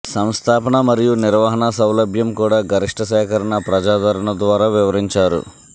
సంస్థాపన మరియు నిర్వహణ సౌలభ్యం కూడా గరిష్ట సేకరణ ప్రజాదరణ ద్వారా వివరించారు